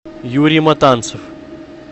юрий матанцев